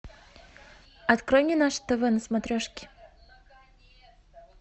открой мне наше тв на смотрешке